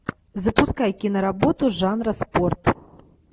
запускай киноработу жанра спорт